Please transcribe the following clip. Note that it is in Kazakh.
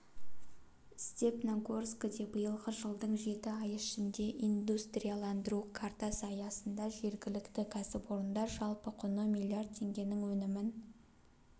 степногорскіде биылғы жылдың жеті айы ішінде индустрияландыру картасы аясында жергілікті кәсіпорындар жалпы құны миллиард теңгенің өнімін